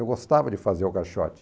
Eu gostava de fazer o caixote.